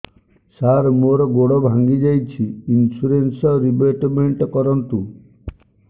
ସାର ମୋର ଗୋଡ ଭାଙ୍ଗି ଯାଇଛି ଇନ୍ସୁରେନ୍ସ ରିବେଟମେଣ୍ଟ କରୁନ୍ତୁ